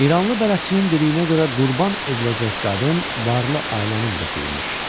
İranlı bələdçinin dediyinə görə, qurban ediləcək qadın barlı ailənin qızı imiş.